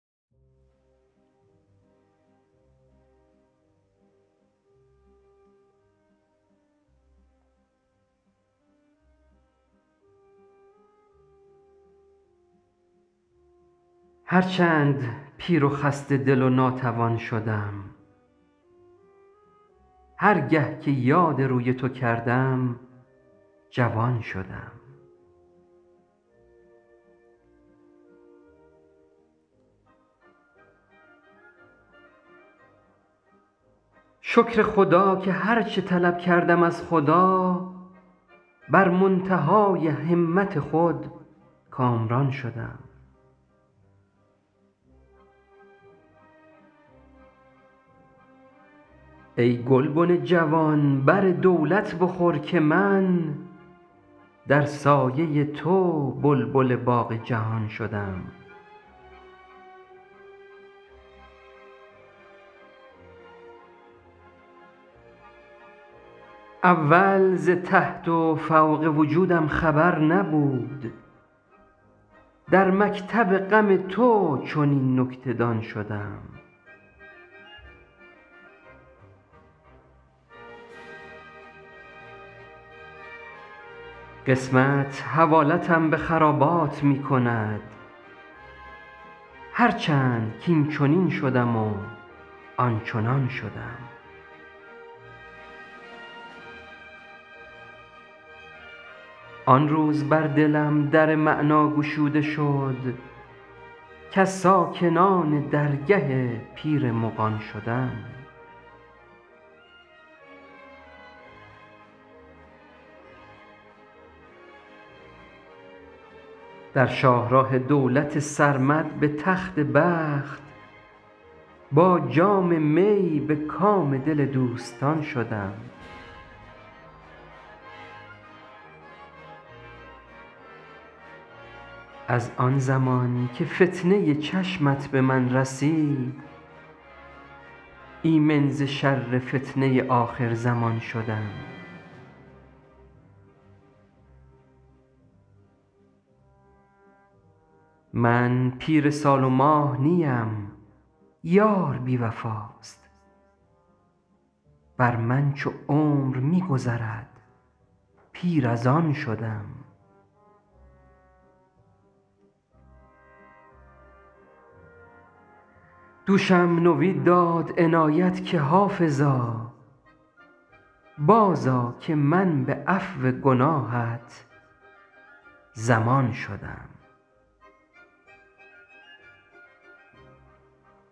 هر چند پیر و خسته دل و ناتوان شدم هر گه که یاد روی تو کردم جوان شدم شکر خدا که هر چه طلب کردم از خدا بر منتهای همت خود کامران شدم ای گلبن جوان بر دولت بخور که من در سایه تو بلبل باغ جهان شدم اول ز تحت و فوق وجودم خبر نبود در مکتب غم تو چنین نکته دان شدم قسمت حوالتم به خرابات می کند هر چند کاینچنین شدم و آنچنان شدم آن روز بر دلم در معنی گشوده شد کز ساکنان درگه پیر مغان شدم در شاه راه دولت سرمد به تخت بخت با جام می به کام دل دوستان شدم از آن زمان که فتنه چشمت به من رسید ایمن ز شر فتنه آخرزمان شدم من پیر سال و ماه نیم یار بی وفاست بر من چو عمر می گذرد پیر از آن شدم دوشم نوید داد عنایت که حافظا بازآ که من به عفو گناهت ضمان شدم